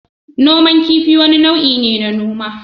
Noman kifi wani nau'i ne na noma.